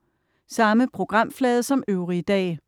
Samme programflade som øvrige dage